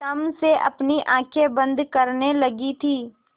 तम से अपनी आँखें बंद करने लगी थी